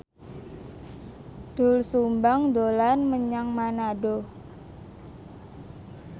Doel Sumbang dolan menyang Manado